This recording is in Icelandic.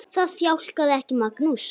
Það þjakaði ekki Magnús.